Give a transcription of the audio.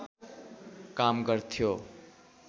काम गर्थ्यो